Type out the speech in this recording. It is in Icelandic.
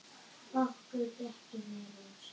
Okkur gekk vel inn ósinn.